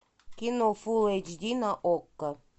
кино фул эйч ди на окко